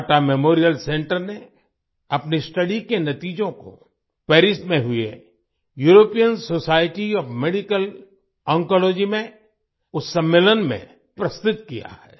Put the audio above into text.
Tata memorial centre ने अपनी study के नतीजों को पेरिस में हुए European society of medical oncology oncology में उस सम्मेलन में प्रस्तुत किया है